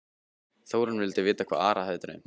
Þórunn vildi vita hvað Ara hefði dreymt.